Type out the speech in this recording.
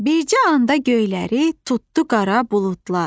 Bircə anda göyləri tutdu qara buludlar.